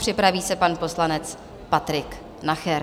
Připraví se pan poslanec Patrik Nacher.